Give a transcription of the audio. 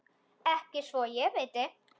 Ekki svo ég viti.